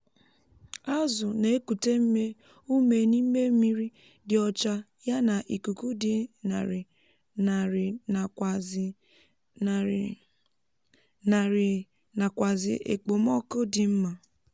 azụ na ekute ume n'ime mmírí dị ọcha yá nà ikuku di ñarì narị nàkwàzì ñarì narị nàkwàzì ekpomoku dị mma